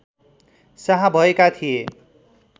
शाह भएका थिए